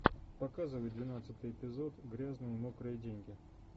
показывай двенадцатый эпизод грязные мокрые деньги